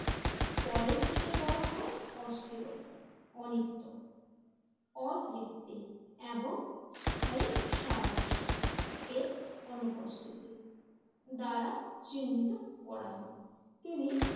পরের দিকে বলা হয় অস্থিরতা অনিত্য অতৃপ্তি এবং স্থায়ী সারাংশ এর অনুপস্থিতি দ্বারা চিহ্নিত করা হয়। তিনি